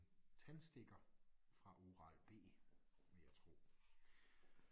Tandstikker fra Oral-B vil jeg tro